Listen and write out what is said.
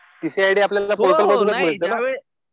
TC I D आपल्याला पोर्टलमधूनच मिळतं ना?